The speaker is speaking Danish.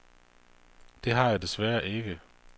Det har jeg desværre ikke.